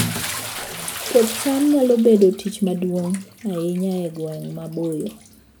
Puoth cham nyalo bedo tich maduong' ahinya e gwenge maboyo